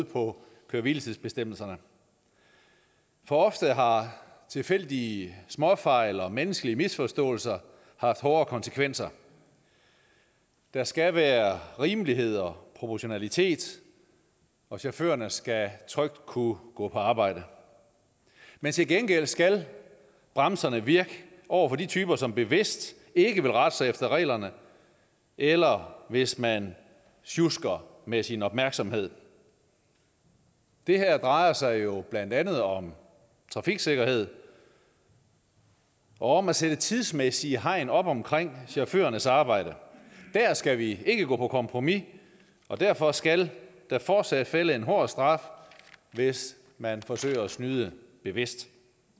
på køre hvile tids bestemmelserne for ofte har tilfældige småfejl og menneskelige misforståelser haft hårde konsekvenser der skal være rimelighed og proportionalitet og chaufførerne skal trygt kunne gå på arbejde men til gengæld skal bremserne virke over for de typer som bevidst ikke vil rette sig efter reglerne eller hvis man sjusker med sin opmærksomhed det her drejer sig jo blandt andet om trafiksikkerhed og om at sætte tidsmæssige hegn op omkring chaufførernes arbejde der skal vi ikke gå på kompromis og derfor skal der fortsat falde en hård straf hvis man forsøger at snyde bevidst